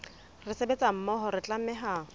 re sebetsa mmoho re tlameha